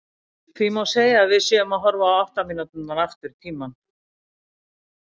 Því má segja að við séum að horfa átta mínútur aftur í tímann.